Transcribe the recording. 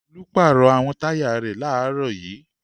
Olú pàrọ̀ àwọn táyà rẹ̀ láàárọ̀ yìí.